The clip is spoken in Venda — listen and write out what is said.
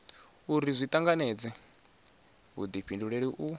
uri zwi tanganedze vhudifhinduleli u